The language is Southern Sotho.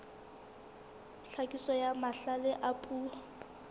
tlhakiso ya mahlale a puo